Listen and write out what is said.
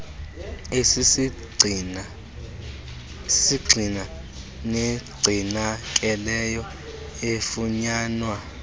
esisisgxina negcinakeleyo efunyanwa